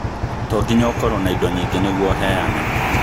Tonginya ĩkorwo na indo nyingĩ nĩguo ũheane